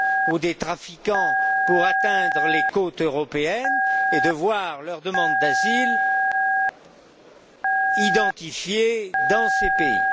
ou à des trafiquants pour atteindre les côtes européennes et de voir leur demande d'asile identifiée dans ces pays.